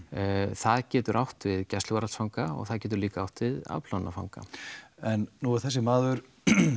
það getur átt við gæsluvarðhaldsfanga og það getur líka átt við afplánunarfanga en nú er þessi maður